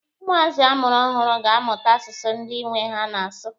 Ụmụazị amụrụ ọhụrụ ga-amụta asụsụ ndị nwe ha na-asụ.